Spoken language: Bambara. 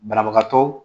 Banabagatɔ